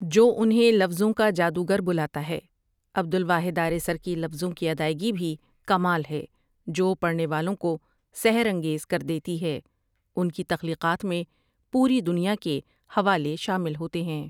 جو انھیں لفظوں کا جادوگر بلاتا ھے عبدالواحد آریسر کی لفظوں کی اداٸگی بھی کمال ھے جو پڑھنے والوں کو سحر انگیز کردیتی ھے انکی تخلیقات میں پوری دنیا کے حوالے شامل ھوتے ھیں ۔